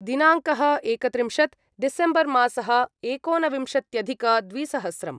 दिनाङ्कः एकत्रिंशत् डिसेम्बर्मासः एकोनविंशत्यधिकद्विसहस्रम्